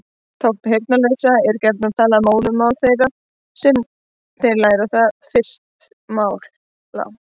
Táknmál heyrnarlausra er gjarnan talið móðurmál þeirra þar sem þeir læra það fyrst mála.